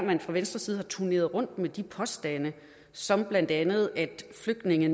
man fra venstres side har turneret rundt med de påstande som blandt andet at flygtninge